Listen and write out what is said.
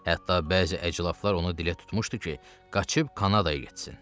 Hətta bəzi əclafılar onu dilə tutmuşdu ki, qaçıb Kanadaya getsin.